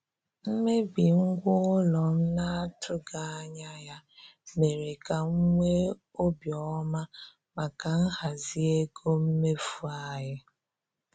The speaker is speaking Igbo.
Mmebi ngwa ụlọ m na-atụghị anya ya mere ka m nwee obi ọma maka nhazi ego mmefu anyị.